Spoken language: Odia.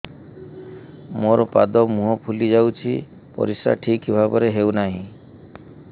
ମୋର ପାଦ ମୁହଁ ଫୁଲି ଯାଉଛି ପରିସ୍ରା ଠିକ୍ ଭାବରେ ହେଉନାହିଁ